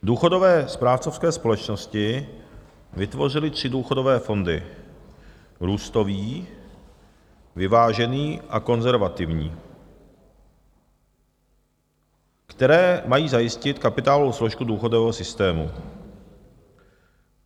Důchodové správcovské společnosti vytvořily tři důchodové fondy, růstový, vyvážený a konzervativní, které mají zajistit kapitálovou složku důchodového systému.